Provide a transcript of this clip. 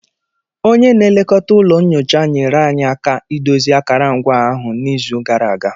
Onye na-elekọta ụlọ nyocha nyere anyị aka idozi akarangwa ahụ n'izu gara aga